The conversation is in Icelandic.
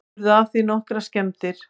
Urðu af því nokkrar skemmdir